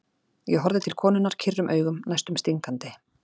Ég horfði til konunnar kyrrum augum, næstum stingandi.